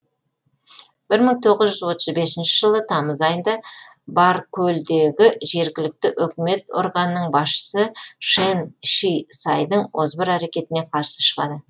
бір мың тоғыз жүз отыз бесінші жылы тамыз айында баркөлдегі жергілікті өкімет органының басшысы шэн ши сайдің озбыр әрекетіне қарсы шығады